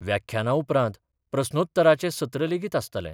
व्याख्याना उपरांत प्रस्नोत्तराचे सत्र लेगीत आसतले.